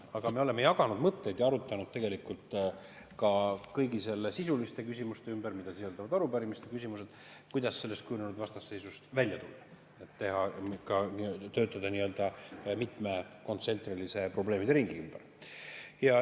Aga me oleme jaganud mõtteid ja kõigi sisuliste küsimuste ümber, mida sisaldavad arupärimiste küsimused, arutanud seda, kuidas sellest kujunenud vastasseisust välja tulla, et töötada nii-öelda mitme kontsentrilise probleemideringi ümber.